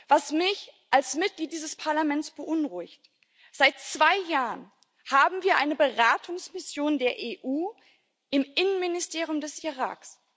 Was mich als Mitglied dieses Parlaments beunruhigt Seit zwei Jahren haben wir eine beratende Mission der EU im Innenministerium des Irak.